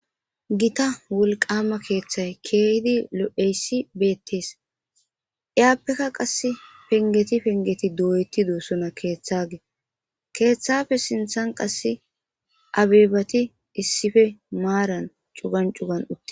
Gita wolqama keeththay keehidi lo'eyssi beettees iyaappeka qass pengeti pengeti doyetido sona keeththage keeththafe sinthan qasse abebati issife maaran cugan cugan utte.